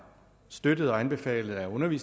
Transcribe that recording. nemlig